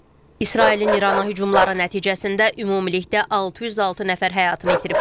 İsrailin İrana hücumları nəticəsində ümumilikdə 606 nəfər həyatını itirib.